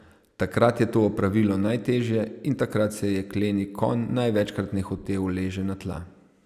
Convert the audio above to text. Takrat je to opravilo najtežje in takrat se jekleni konj največkrat nehote uleže na tla.